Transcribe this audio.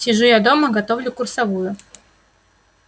сижу я дома готовлю курсовую